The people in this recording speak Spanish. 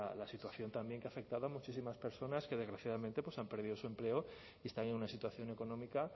la situación también que ha afectado a muchísimas personas que desgraciadamente han perdido su empleo y están en una situación económica